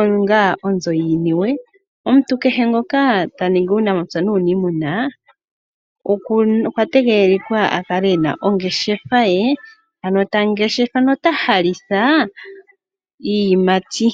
onga onzo yiiniwe. Omuntu kehe ngoka ta ningi uunamapya nuuniimuna okwa tegelelwa a kale e na ongeshefa ye, ano ta ngeshefa nota halitha iiyimati.